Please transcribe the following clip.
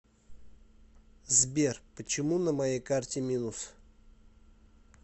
сбер почему на моей карте минус